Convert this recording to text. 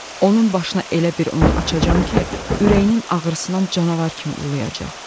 Onun başına elə bir oyun açacam ki, ürəyinin ağrısından canavar kimi uluyacaq.